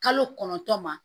Kalo kɔnɔntɔn ma